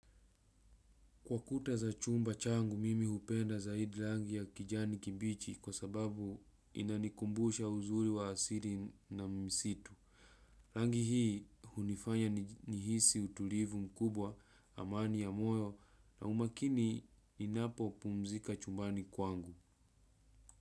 Kwa kuta za chumba changu, mimi hupenda zaidi rangi ya kijani kimbichi kwa sababu inanikumbusha uzuri wa asili na msitu. Rangi hii hunifanya nihisi utulivu mkubwa amani ya moyo na umakini ninapo pumzika chumbani kwangu.